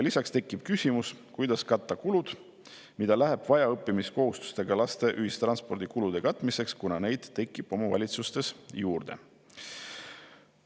Lisaks tekib küsimus, kuidas katta kulud, mida läheb vaja õppimiskohustusega laste ühistranspordi kulude katmiseks, kuna tekib omavalitsustele juurde.